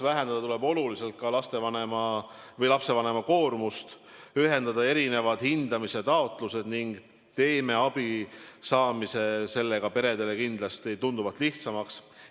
Kolmandaks, oluliselt tuleb vähendada lapsevanema koormust ja erinevad hindamistaotlused ühendada, selle tulemusena teeme abi saamise peredele kindlasti tunduvalt lihtsamaks.